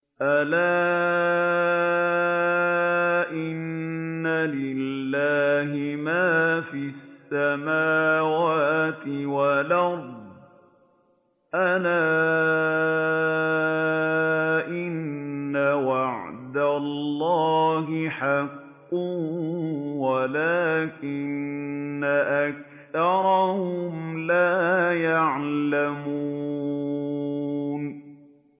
أَلَا إِنَّ لِلَّهِ مَا فِي السَّمَاوَاتِ وَالْأَرْضِ ۗ أَلَا إِنَّ وَعْدَ اللَّهِ حَقٌّ وَلَٰكِنَّ أَكْثَرَهُمْ لَا يَعْلَمُونَ